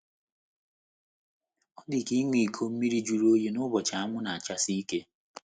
Ọ dị ka ịṅụ iko mmiri jụrụ oyi n’ụbọchị anwụ na - achasi ike.